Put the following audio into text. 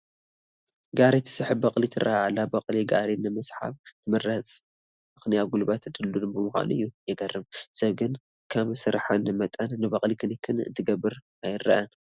ጋሪ ትስሕብ በቕሊ ትርአ ኣላ፡፡ በቕሊ ጋሪ ንምስሓብ ትምረፀሉ ምኽንያ ጉልበታ ድልዱል ብምዃኑ እዩ፡፡ የግርም፡፡ ሰብ ግን ከም ስርሐን መጠን ንበቕሊ ክንክን እንትገብር ኣይርአን፡፡